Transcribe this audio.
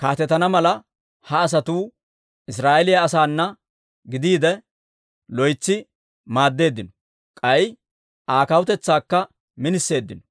kaatetana mala, ha asatuu Israa'eeliyaa asaana gidiide, loytsi maaddeeddino. K'ay Aa kawutetsaakka miniseeddino.